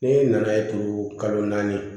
Ne nana ye turu kalo naani ye